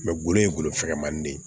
golo ye golofɛmanin de ye